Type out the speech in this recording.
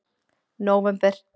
nóvember